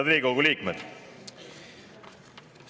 Head Riigikogu liikmed!